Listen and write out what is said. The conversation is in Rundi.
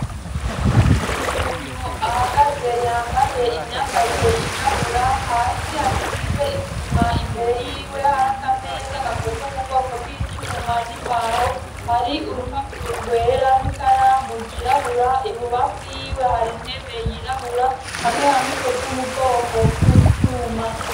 Umuntu ahagaze yambaye imyambarire yirabura, hasi hasize isima, imbere yiwe hari akameza gakozwe mu bwoko bw'icuma n'imbaho, hari urupapuro rwera n'ikaramu ryirabura, ibubafu y'iwe hari intebe yirabura hamwe hamwe ikozwe mu bwoko bw'icuma.